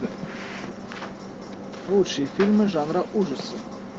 лучшие фильмы жанра ужасы